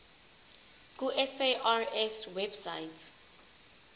ku sars website